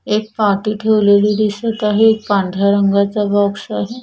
एक पाटी ठेवलेली दिसत आहे एक पांढऱ्या रंगाचा बॉक्स आहे.